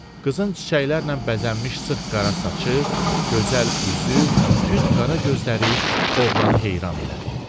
Qızın çiçəklərlə bəzənmiş sıx qara saçı, gözəl üzü, tünd qara gözləri oğlanı heyran elədi.